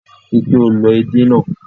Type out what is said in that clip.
Rí i pé o lọ èdè náà.